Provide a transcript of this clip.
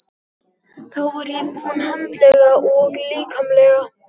Þá var ég búin andlega og líkamlega.